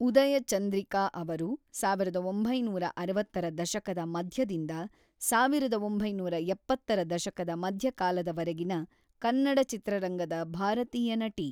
ಉದಯ ಚಂದ್ರಿಕಾ ಅವರು ಸಾವಿರದ ಒಂಬೈನೂರ ಅರವತ್ತರ ದಶಕದ ಮಧ್ಯದಿಂದ ಸಾವಿರದ ಒಂಬೈನೂರ ಎಪ್ಪತ್ತರ ದಶಕದ ಮಧ್ಯಕಾಲದವರೆಗಿನ ಕನ್ನಡ ಚಿತ್ರರಂಗದ ಭಾರತೀಯ ನಟಿ.